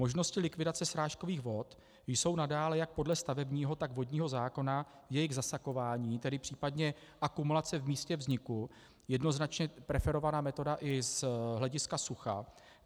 Možnosti likvidace srážkových vod jsou nadále jak podle stavebního, tak vodního zákona jejich zasakování, tedy případně akumulace v místě vzniku, jednoznačně preferovaná metoda i z hlediska sucha.